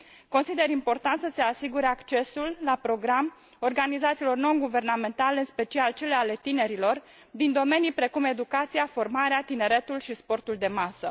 Consider important să se asigure accesul la program organizațiilor non guvernamentale, în special cele ale tinerilor, din domenii precum educația, formarea, tineretul și sportul de masă.